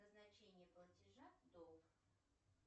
назначение платежа долг